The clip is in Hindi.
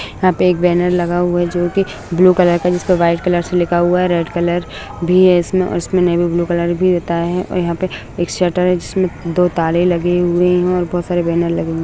यहाँ पे एक बेनर लगा हुआ है जो कि ब्लू कलर का जिस पे व्हाइट कलर से लिखा हुआ है रेड कलर भी है इसमे और इसमे नेवी ब्लू कलर भी रहता है और यहाँ पे एक शटर है जिसमे दो ताले लगे हुए है और बहुत सारे बेनर लगे हुए है।